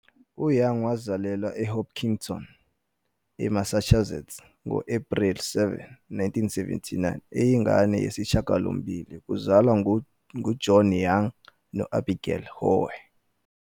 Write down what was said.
UYoung wazalelwa eHopkinton, eMassachusetts ngo-Ephreli 7, 1797, eyingane yesishiyagalombili kuzalwa nguJohn Young no-Abigail Howe.